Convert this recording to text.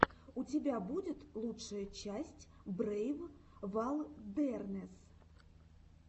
у тебя будет лучшая часть брейв вайлдернесс